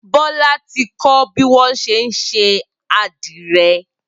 Bola ti kọ̀ biwọn ṣé n ṣé adirẹ